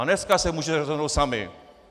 A dneska se můžete rozhodnout sami.